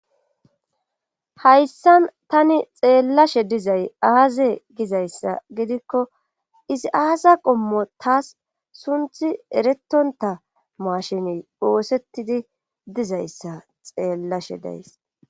Hayssan tani xeellashe dizay aaze gizayssa gidikko izi aasa qommo taas sunthi eretonta maashini oosettidi dizayssa xeellashe days.